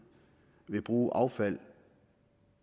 vil bruge affald